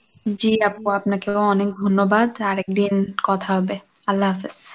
জি আপু, আপনাকেও অনেক ধন্যবাদ আর একদিন কথা হবে, আল্লাহ হাফিজ।